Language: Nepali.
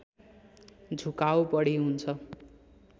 झुकाउ बढी हुन्छ